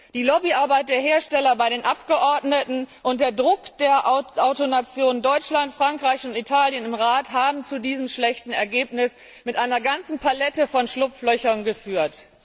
Die Lobbyarbeit der Hersteller bei den Abgeordneten und der Druck der Autonationen Deutschland, Frankreich und Italien im Rat haben zu diesem schlechten Ergebnis mit einer ganzen Palette von Schlupflöchern geführt.